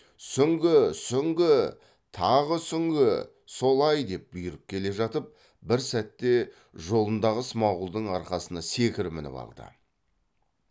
сүңгі сүңгі тағы сүңгі солай деп бұйырып келе жатып бір сәтте жолындағы смағұлдың арқасына секіріп мініп алды